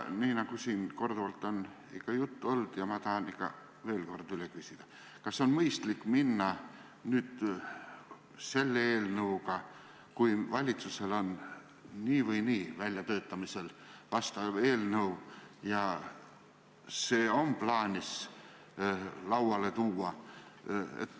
Siin on küll sellest korduvalt juttu olnud, aga ma tahan veel kord üle küsida: kas on mõistlik nüüd selle eelnõuga edasi minna, kui valitsusel on nii või naa väljatöötamisel samasisuline eelnõu ja see on plaanis lauale tuua?